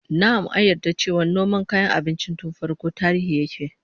Na'am, an yarda cewa noma kayan abinci tun farkon tarihi yake